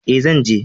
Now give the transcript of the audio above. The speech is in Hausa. E, zan je